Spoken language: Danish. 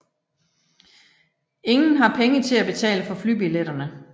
Ingen har penge til at betale for flybilletterne